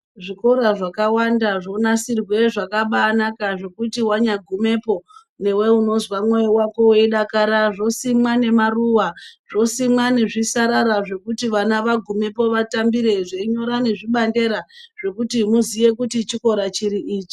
Zvikora zvakawanda zvonasirwe zvakabaanaka zvekuti wanyagumepo newe unozwa mwoyo wako weidakara zvosimwa nemaruwa zvosimwa nezvisarara zvekuti vana vagumepo vatambire zveinyora nezvibandera zvokuti muziye kuti chikora chipi ichi.